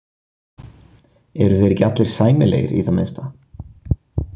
Eru þeir ekki allir sæmilegir í það minnsta.